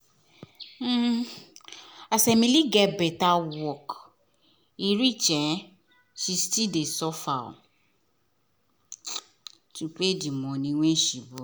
um as emily get better work reach um she still dey suffer um to pay the money wen she borrow